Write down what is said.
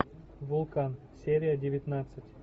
вулкан серия девятнадцать